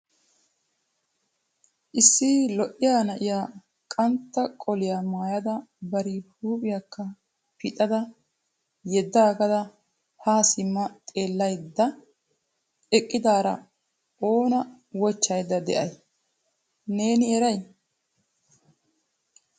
Issi lo'iya na'iya qantta qoliya maayada bari huuphiyakka pixada yeeddaagada haa simma xeellaydda eqqidaara oona wochchaydda de'ay, neeni eray ?